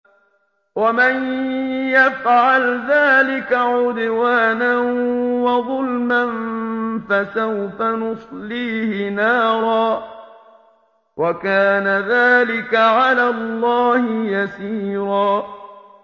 وَمَن يَفْعَلْ ذَٰلِكَ عُدْوَانًا وَظُلْمًا فَسَوْفَ نُصْلِيهِ نَارًا ۚ وَكَانَ ذَٰلِكَ عَلَى اللَّهِ يَسِيرًا